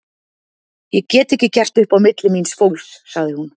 Ég get ekki gert upp á milli míns fólks, sagði hún.